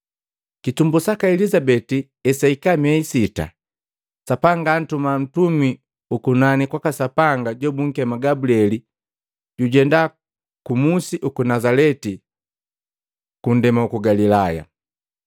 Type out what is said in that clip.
Kitumbu saka Elizabeti hesahika miehi sita, Sapanga antuma ntumi ukunani kwaka Sapanga jobunkema Gabulieli jujenda mmusi uku Nazaleti kundema uku Galilaya,